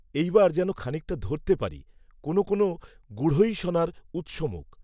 এই বার যেন খানিকটা ধরতে পারি, কোনও কোনও গূঢ়ৈষণার উত্সমুখ